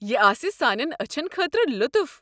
یہِ آسہِ سانٮ۪ن أچھَن خٲطرٕ لُطُف۔